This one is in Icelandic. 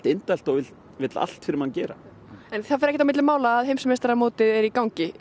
indælt og vill allt fyrir mann gera en það fer ekkert á milli mála að heimsmeistaramótið er í gangi